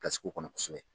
kɔnɔ kosɛbɛ